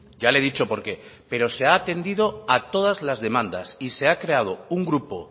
ya le he dicho por qué pero se ha atendido a todas las demandas y se ha creado un grupo